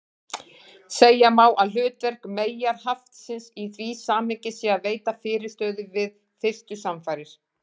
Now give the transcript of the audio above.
Segja má að hlutverk meyjarhaftsins í því samhengi sé að veita fyrirstöðu við fyrstu samfarir.